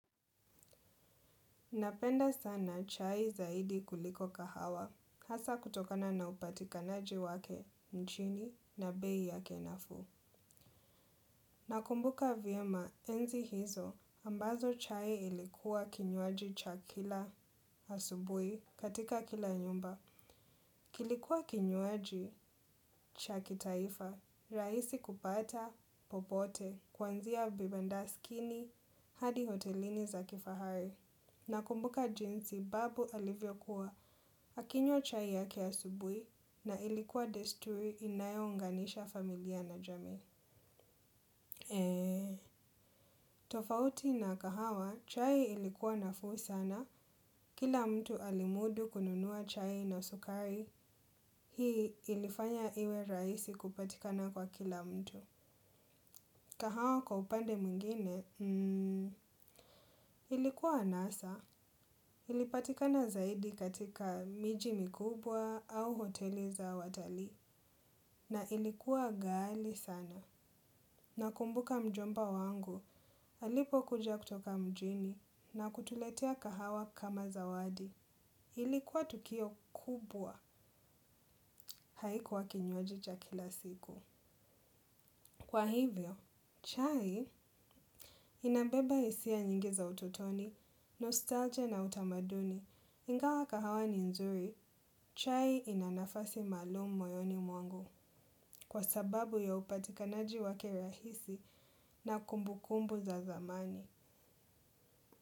Napenda sana chai zaidi kuliko kahawa, hasa kutokana na upatikanaji wake nchini na bei yake nafuu. Nakumbuka vyema enzi hizo ambazo chai ilikuwa kinywaji cha kila asubuhi katika kila nyumba. Kilikuwa kinywaji cha kitaifa, rahisi kupata, popote, kuanzia vibandaskini hadi hotelini za kifahari. Nakumbuka jinsi babu alivyokuwa, akinywa chai yake asubuhi na ilikuwa desturi inayounganisha familia na jami. Tofauti na kahawa, chai ilikuwa nafuu sana, kila mtu alimudu kununua chai na sukari, hii ilifanya iwe rahisi kupatikana kwa kila mtu. Kahawa kwa upande mwingine, ilikuwa anasa, ilipatikana zaidi katika miji mikubwa au hoteli za watalii, na ilikuwa ghali sana. Nakumbuka mjomba wangu, alipo kuja kutoka mjini na kutuletea kahawa kama zawadi, ilikuwa tukio kubwa haikuwa kinywaji cha kila siku. Kwa hivyo, chai inabeba hisia nyingi za ututoni, nostalgia na utamaduni, ingawa kahawa ni nzuri, chai ina nafasi maalumu moyoni mwangu kwa sababu ya upatikanaji wake rahisi na kumbu kumbu za zamani.